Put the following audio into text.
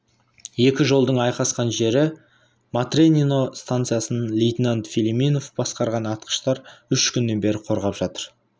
екі жолдың айқасқан жері матренино станциясын лейтенант филимонов басқарған атқыштар үш күннен бері қорғап жатыр